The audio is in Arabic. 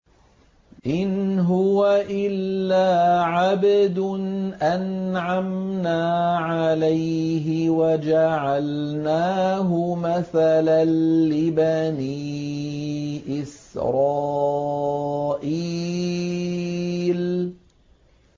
إِنْ هُوَ إِلَّا عَبْدٌ أَنْعَمْنَا عَلَيْهِ وَجَعَلْنَاهُ مَثَلًا لِّبَنِي إِسْرَائِيلَ